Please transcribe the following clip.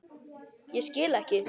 Ég skil ekki.